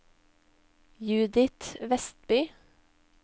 Judith Westby